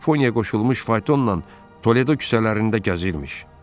Dörd ponyaya qoşulmuş faytonla Toledo küçələrində gəzirmiş.